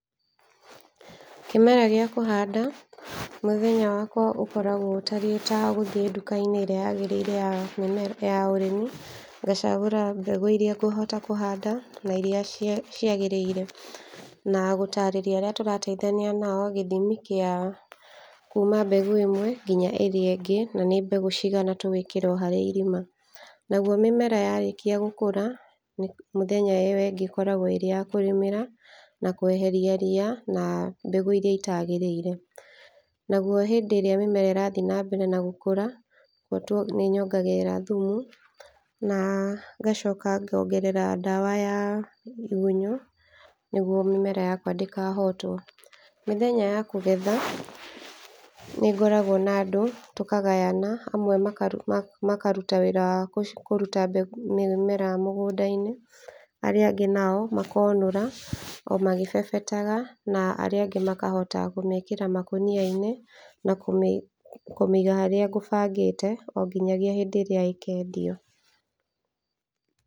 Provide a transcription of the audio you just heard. Kĩmera gĩa kũhanda, mũthenya wakwa ũkoragwo ũtariĩ ta gũthiĩ nduka-inĩ ĩrĩa yagĩrĩire ya mĩme ya ũrĩmi, ngacagũra mbegũ iria ngũhota kũhanda na iria cia cia ciagĩrĩire, na gũtarĩria arĩa tũrateithania nao gĩthimi kĩa kuma mbegũ ĩmwe nginya ĩrĩa ĩngĩ, na nĩ mbegũ cigana tũgwĩkĩra oharĩ irima. Nagwo mĩmera yarĩkia gũkũra mũthenya ĩyo ĩngĩ ĩkoragwo ĩyakũrĩmĩra na kweheria ria, na mbegũ iria itagĩrĩire. Nagwo hĩndĩ ĩrĩa mĩmera ĩrathiĩ na mbere na gũkũra nĩ nyongagĩrĩra thumu, na ngacoka ngongerera ndawa ya igunyo nĩgwo mĩmera yakwa ndĩkahotwo. Mĩthenya ya kũgetha, nĩ ngoragwo na andũ tũkagayana, amwe makaruta wĩra wa kũruta mbegũ, mĩmera mĩgũnda-inĩ, arĩa angĩ nao makonũra o magĩbebetaga, na arĩa angĩ makahota kũmĩkĩra makũnia-inĩ na kũmĩiga harĩa ngũbangĩte o nginyagia hĩndĩ ĩrĩa ĩkendio.